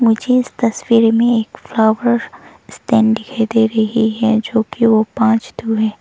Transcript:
मुझे इस तस्वीर में एक फ्लावर स्टैंड दिखाई दे रही है जो कि वो पांच ठो है।